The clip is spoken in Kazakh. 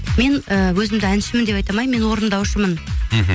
мен ііі өзімді әншімін деп айта алмаймын мен орындаушымын мхм